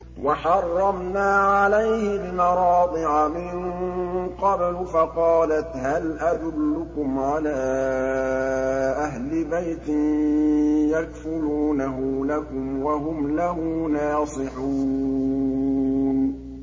۞ وَحَرَّمْنَا عَلَيْهِ الْمَرَاضِعَ مِن قَبْلُ فَقَالَتْ هَلْ أَدُلُّكُمْ عَلَىٰ أَهْلِ بَيْتٍ يَكْفُلُونَهُ لَكُمْ وَهُمْ لَهُ نَاصِحُونَ